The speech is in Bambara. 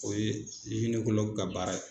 O ye ka baara ye.